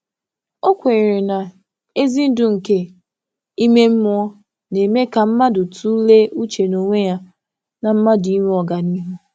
Ọ kwè na nduzi ime mmụọ nke eziokwu na-enye ohere ka mmadụ che echiche ma too.